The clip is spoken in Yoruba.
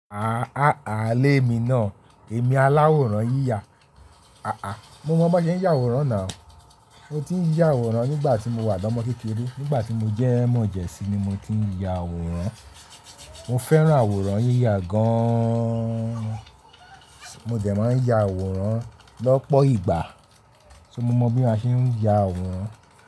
Àá a lé mi náà, èmi aláwòrán yíya. Aà, mo mọ bán ṣe ń ya àwòrán ná. Mo ti ń ya àwòrán nígbà tí mo wà lọ́mọ kékeré. Nígbà tí mo jẹ́ mọ̀jẹ̀sín ni mo ti ń ya àwòrán. Mo fẹ́ràn àwòrán yíya gaaán. Mo dẹ̀ máa ń ya àwòrán lọ́pọ̀ ìgbà. So mo mọ bí a ṣe ń ya àwòrán.